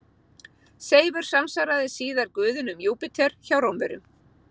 Seifur samsvaraði síðar guðinum Júpíter hjá Rómverjum.